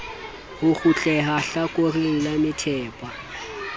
ho kgutleha hlakoreng la methepa